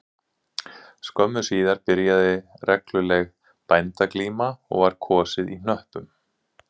Skömmu síðar byrjaði regluleg bændaglíma og var kosið á hnöppum